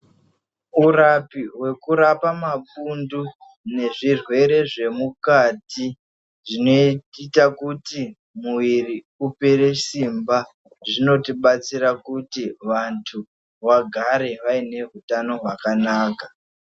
Urapi hwekurapa mapundu nezvirwere zvemukati zvinoita kuti muiri upere simba. Zvinotibatsira kuti vantu vagare vaine hutano hwakanaka.